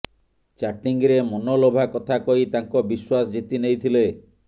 ଚାଟିଂରେ ମନ ଲୋଭା କଥା କହି ତାଙ୍କ ବିଶ୍ୱାସ ଜିିତି ନେଇଥିଲେ